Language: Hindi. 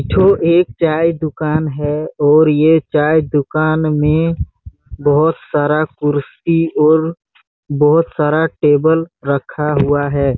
--ठो एक चाय दुकान हैं और ये चाय दुकान में बहोत सारा कुर्सी और बहोत सारा टेबल रखा हुआ है।